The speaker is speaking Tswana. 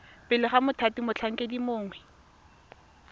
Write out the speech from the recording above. pele ga mothati motlhankedi mongwe